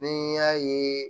Ni y'a ye